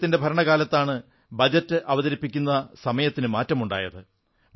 അദ്ദേഹത്തിന്റെ ഭരണകാലത്താണ് ബജറ്റ് അവതരിപ്പിക്കുന്ന സമയത്തിനു മാറ്റമുണ്ടായത്